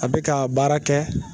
A bɛ ka baara kɛ